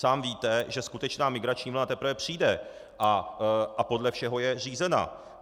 Sám víte, že skutečná migrační vlna teprve přijde a podle všeho je řízená.